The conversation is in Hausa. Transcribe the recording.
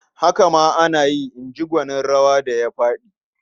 "Haka ma ana yi", in ji gwanin rawa da ya faɗi.